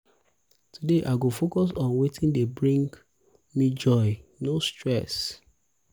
today i go focus on wetin dey bring dey bring me joy no stress